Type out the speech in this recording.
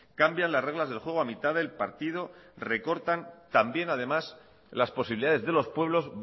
cambian las reglas del juego a mitad del partido recortan también además las posibilidades de los pueblos